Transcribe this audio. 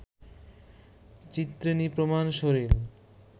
চিত্রিণী প্রমাণ শরীর